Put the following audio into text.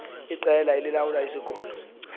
iqela elilawula isikolo